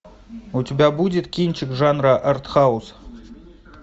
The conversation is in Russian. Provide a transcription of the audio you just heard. у тебя будет кинчик жанра артхаус